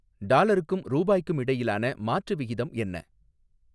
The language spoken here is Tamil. டாலருக்கும் ரூபாய்க்கும் இடையிலான மாற்று விகிதம் என்ன